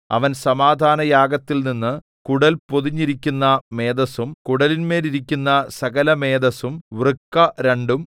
അവൻ സമാധാനയാഗത്തിൽനിന്നു കുടൽ പൊതിഞ്ഞിരിക്കുന്ന മേദസ്സും കുടലിന്മേലിരിക്കുന്ന സകലമേദസ്സും വൃക്ക രണ്ടും